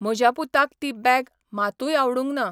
म्हज्या पुताक ती बॅग , मातूय आवडूंक ना.